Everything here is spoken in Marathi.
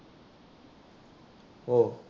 हो